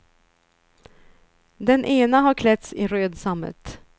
Den ena har klätts i röd sammet.